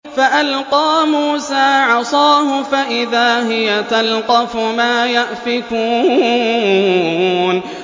فَأَلْقَىٰ مُوسَىٰ عَصَاهُ فَإِذَا هِيَ تَلْقَفُ مَا يَأْفِكُونَ